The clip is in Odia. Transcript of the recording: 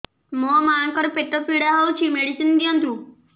ମୋ ମାଆଙ୍କର ପେଟ ପୀଡା ହଉଛି ମେଡିସିନ ଦିଅନ୍ତୁ